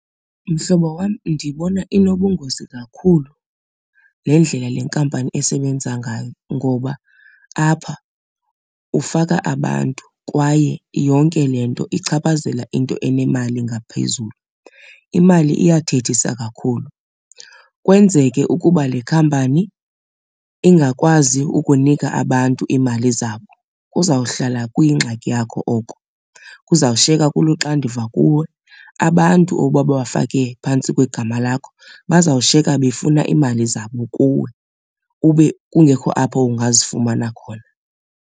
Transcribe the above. Mhlobo wam, ndibona inobungozi kakhulu le ndlela le nkampani esebenza ngayo ngoba apha ufaka abantu kwaye yonke le nto ichaphazela into enemali ngaphezulu, imali iyathethisa kakhulu. Kwenzeke ukuba le khampani ingakwazi ukunika abantu iimali zabo, kuzawuhlala kuyingxaki yakho oko, kuzawushiyeka kuluanduva kuwe. Abantu obubafake phantsi kwegama lakho bazawushiyeka befuna iimali zabo kuwe ube kungekho apho ungazifumana khona.